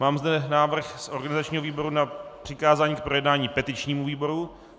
Mám zde návrh z organizačního výboru na přikázání k projednání petičnímu výboru.